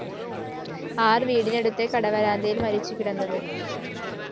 ആര്‍ വീടിനടുത്തെ കടവരാന്തയില്‍ മരിച്ചുകിടന്നത്